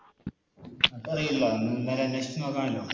അത് അറീല്ല എന്തായാലും അന്വേഷിച്ച് നോക്കാമല്ലോ